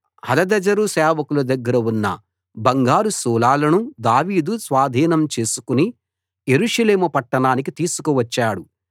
హదదెజెరు సేవకుల దగ్గర ఉన్న బంగారు శూలాలను దావీదు స్వాధీనం చేసుకుని యెరూషలేము పట్టణానికి తీసుకువచ్చాడు